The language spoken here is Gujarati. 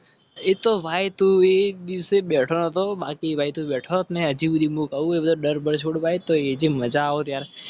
એ તો ભાઈ દિવસે બેઠો હતો